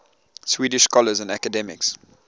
swedish scholars and academics